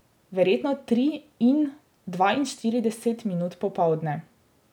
Verjetno tri in dvainštirideset minut popoldne.